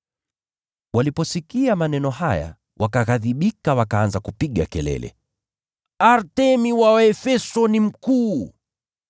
Waliposikia maneno haya, wakaghadhibika, wakaanza kupiga kelele, “Artemi wa Waefeso ni mkuu!”